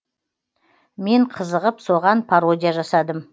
мен қызығып соған пародия жасадым